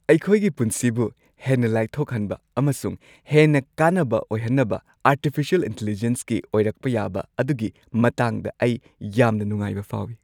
ꯑꯩꯈꯣꯏꯒꯤ ꯄꯨꯟꯁꯤꯕꯨ ꯍꯦꯟꯅ ꯂꯥꯏꯊꯣꯛꯍꯟꯕ ꯑꯃꯁꯨꯡ ꯍꯦꯟꯅ ꯀꯥꯟꯅꯕ ꯑꯣꯏꯍꯟꯅꯕ ꯑꯔꯇꯤꯐꯤꯁꯤꯑꯦꯜ ꯏꯟꯇꯦꯂꯤꯖꯦꯟꯁꯀꯤ ꯑꯣꯏꯔꯛꯄ ꯌꯥꯕ ꯑꯗꯨꯒꯤ ꯃꯇꯥꯡꯗ ꯑꯩ ꯌꯥꯝꯅ ꯅꯨꯡꯉꯥꯏꯕ ꯐꯥꯎꯏ꯫